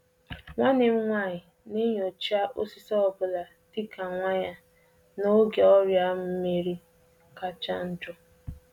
Nwanne m nwanyị na-elebara ihe ahụ a kụrụ akụ anya dịka ọ bụ nwa ya, n'oge ahụ ọrịa na akachasi njọ n'udummiri.